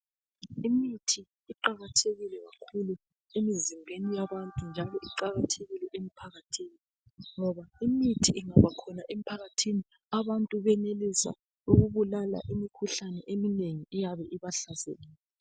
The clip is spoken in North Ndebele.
Imithi iqakathekile kakhulu emizimbeni yabantu njalo iqalathekile emphakathini ngoba imithi ingabakhona emphakathini abantu benelisa ukubulala imikhuhlane eminengi eyabe ibahlasele.